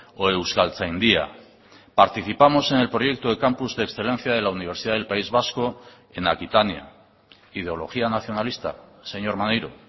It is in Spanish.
o euskaltzaindia participamos en el proyecto de campus de excelencia de la universidad del país vasco en aquitania ideología nacionalista señor maneiro